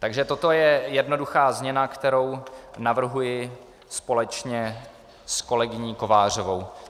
Takže toto je jednoduchá změna, kterou navrhuji společně s kolegyní Kovářovou.